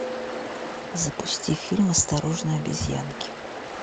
запусти фильм осторожно обезьянки